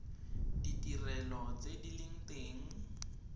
ditirelo tse di leng teng